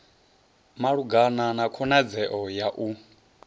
malugana na khonadzeo ya u